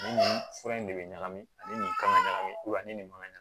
Ni nin fura in de bɛ ɲagami ani nin kan ka ɲagami ani nin ma ɲa ka ɲ